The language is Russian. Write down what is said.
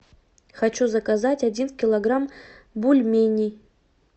хочу заказать один килограмм бульменей